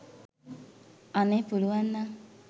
අනේ පුළුවන්නම්